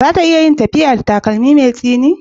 Za ta iya tafiya da takalmi mai tsini?